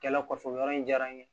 Kɛlɛ kɔfɛ o yɔrɔ in diyara n ye